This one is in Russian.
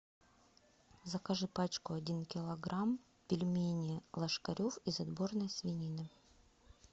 закажи пачку один килограмм пельмени ложкарев из отборной свинины